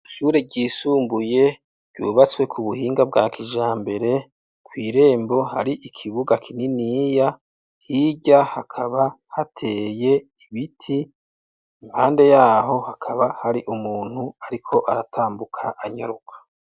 Ishure ry'isumbuye ryubatse kubuhinga bwa kijambere, kw'irembo hari ikibuga kininiya hirya hakaba hateye ibiti , iruhande yaho hakaba hari umuntu arikw'aratambuka anyaruka.